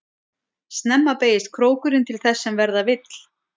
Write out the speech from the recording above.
Snemma beygist krókurinn til þess sem verða vill.